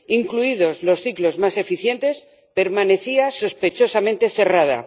incluidos los ciclos más eficientes, permanecía sospechosamente cerrada.